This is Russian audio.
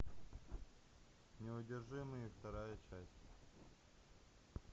неудержимые вторая часть